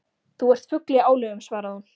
Þú ert fugl í álögum svaraði hún.